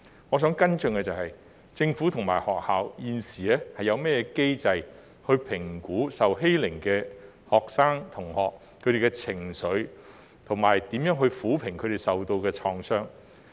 我想跟進的是，政府和學校現時有甚麼機制評估受欺凌的學生的情緒，以及如何撫平他們受到的創傷。